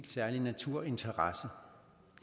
særlig naturinteresse